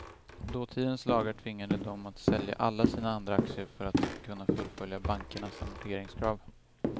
Dåtidens lagar tvingade dem att sälja alla sina andra aktier för att kunna fullfölja bankernas amorteringskrav.